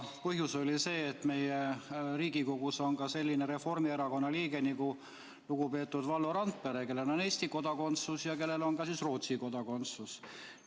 Põhjus oli see, et Riigikogus on selline Reformierakonna liige nagu lugupeetud Valdo Randpere, kellel on Eesti kodakondsus ja kellel on ka Rootsi kodakondsus.